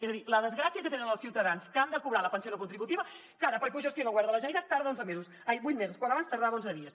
és a dir la desgràcia que tenen els ciutadans que han de cobrar la pensió no contributiva que ara perquè ho gestiona el govern de la generalitat tarda vuit mesos quan abans tardava onze dies